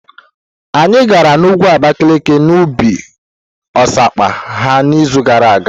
Anyị gara n'ugwu Abakalaki na ubi osikapa ha n'izu gara aga.